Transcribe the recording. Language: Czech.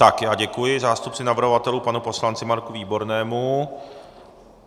Tak já děkuji zástupci navrhovatelů, panu poslanci Marku Výbornému.